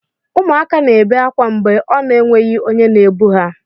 Ụmụaka na ebe akwa mgbe ọ na enweghị onye na ebu ha.